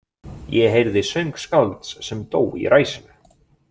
Ég heyrði söng skálds sem dó í ræsinu.